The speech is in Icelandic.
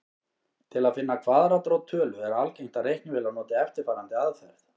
Til að finna kvaðratrót tölu er algengt að reiknivélar noti eftirfarandi aðferð.